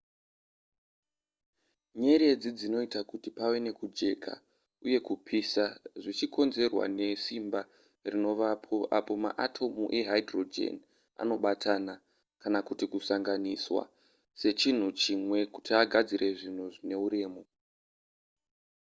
nyeredzi dzinoita kuti pave nekujeka uye kupisa zvichikonzerwa nesimba rinovapo apo maatomu ehydrogen anobatana kana kuti kusanganiswa sechinhu chimwe kuti agadzire zvinhu zvine uremu